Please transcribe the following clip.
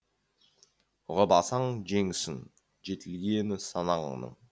ұғып алсаң жеңісің жетілгені санаңның